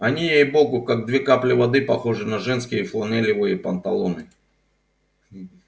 они ей-богу как две капли воды похожи на женские фланелевые панталоны